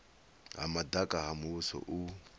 ha madaka ha muvhuso u